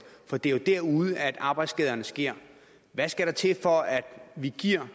for det er jo derude at arbejdsskaderne sker hvad skal der til for at vi giver